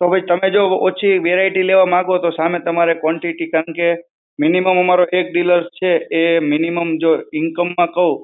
તો ભઈ તમે જો ઓછી variety લેવા માંગો તો સામે તમારે quantity કારણ કે minimum અમારો એક dealer છે, એ mi nimum જો income માં કહું,